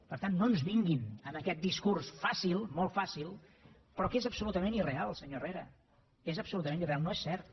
per tant no ens vinguin amb aquest discurs fàcil molt fàcil però que és absolutament irreal senyor herrera és absolutament irreal no és cert